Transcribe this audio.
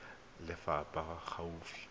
ya lefapha e e gaufi